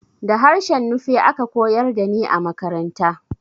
Da harshen Nufe aka koyar da ni a makaranta